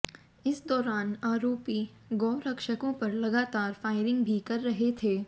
इस दौरान आरोपी गौरक्षकों पर लगातार फायरिंग भी कर रहे थे